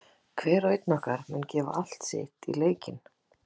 Hver og einn okkar mun gefa allt sitt í leikinn.